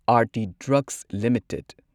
Aarti drugs limited